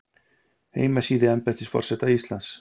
heimasíða embættis forseta íslands